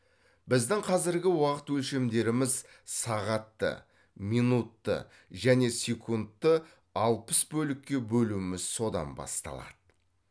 біздің қазіргі уақыт өлшемдеріміз сағатты минутты және секундты алпыс бөлікке бөлуміз содан басталады